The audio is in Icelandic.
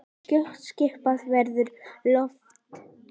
Skjótt skipast veður í loft.